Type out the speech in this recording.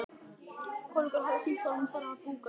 Konungur hafði sýnt honum þennan búgarð á korti.